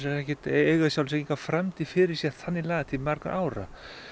eiga í sjálfu sér enga framtíð fyrir sér þannig lagað til margra ára